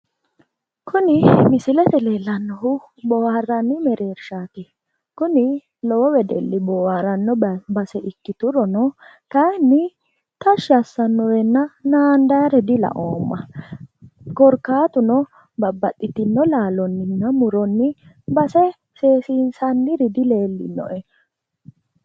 Kuni misilete leellannohu boohaarranni mereershaati. Kuni lowo wedelli boohaaranno base ikkituron, kayinni tashshi assannorenna naandaayere dilaoomma. Korkaatuno babbaxxitino laalonninna muronni base seesiinsanniri dileellinoe.